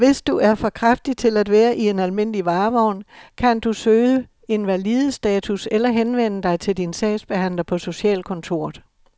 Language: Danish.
Hvis du er for kraftig til at være i en almindelig varevogn, kan du kan søge invalidestatus eller henvende dig til din sagsbehandler på socialkontoret.